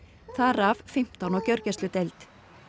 þar af fimmtán á gjörgæsludeild